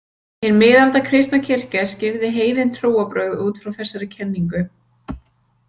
Hin miðalda kristna kirkja skýrði heiðin trúarbrögð út frá þessari kenningu.